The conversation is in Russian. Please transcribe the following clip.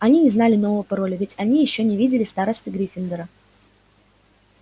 они не знали нового пароля ведь они ещё не видели старосты гриффиндора